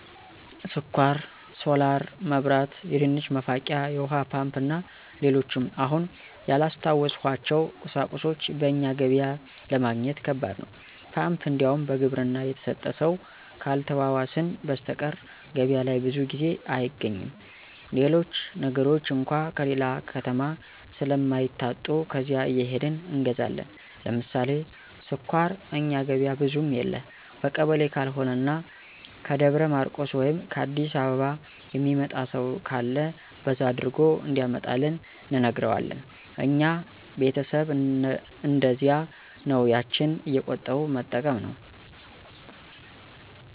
ስኳር፣ ሶላር መብራት፣ የድንች መፋቂያ፣ የውሀ ፓምፕ እና ሌሎችም አሁን ያላስታወስኋቸው ቁሳቁሶች በእኛ ገበያ ለማግኘት ከባድ ነው። ፓምፕ እንዲያውም በግብርና የተሰጠ ሰው ካልተዋዋስን በሰተቀር ገበያ ላይ ብዙ ጊዜ አይገኝም። ሌሎች ነገሮች አንኳ ከሌላ ከተማ ስለማይታጡ ከዚያ እየሄድን እንገዛለን። ለምሳሌ ስኳር እኛ ገበያ ብዙም የለ በቀበሌ ካልሆነ እና ከደብረ ማርቆስ ወይም ከ አዲስ አበባ የሚመጣ ሰው ካለ በዛ አድርጎ እንዲያመጣልን እንነግረዋለን። እኛ ቤተሰብ እነደዚያ ነው ያችን እየቆጠቡ መጠቀም ነው።